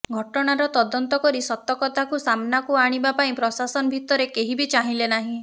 ଘଟଣାର ତଦନ୍ତ କରି ସତକଥାକୁ ସାମନାକୁ ଆଣିବା ପାଇଁ ପ୍ରଶାସନ ଭିତରେ କେହି ବି ଚାହିଁଲେ ନାହିଁ